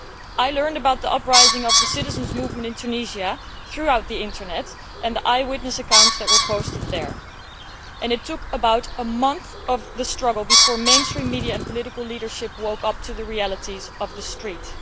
I learned about the uprising by the citizens' movement in Tunisia through the Internet and eyewitness accounts that were posted there, but it took about a month of the struggle before mainstream media and political leaders woke up to the realities of the street.